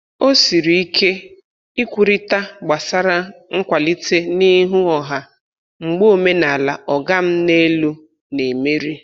O siri ike ikwurịta gbasra nkwalite n'ihu ọha mgbe omenala "ọga m n'elu" na-emeri.